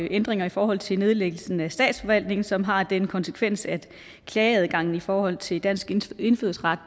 ændringer i forhold til nedlæggelsen af statsforvaltningen som har den konsekvens at klageadgangen i forhold til dansk indfødsret